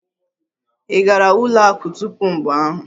Ị gara ụlọ akụ tupu mgbe ahụ?